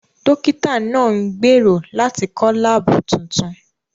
Dókítà náà ń gbèrò láti kọ́ láàbù tuntun